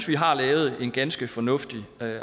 vi har lavet en ganske fornuftig